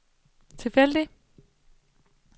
tilfældig